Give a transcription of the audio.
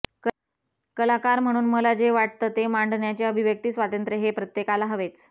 कलाकार म्हणून मला जे वाटतं ते मांडण्याचे अभिव्यक्ती स्वातंत्र्य हे प्रत्येकाला हवेच